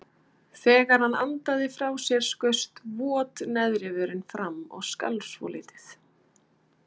Þegar hann andaði frá sér skaust vot neðri vörin fram og skalf svolítið.